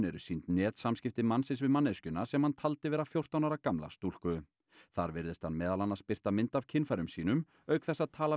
eru sýnd netsamskipti mannsins við manneskjuna sem hann taldi vera fjórtán ára gamla stúlku þar virðist hann meðal annars birta mynd af kynfærum sínum auk þess að tala